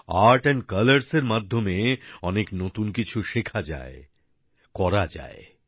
art and colours এর মাধ্যমে অনেক নতুন কিছু শেখা যায় করা যায়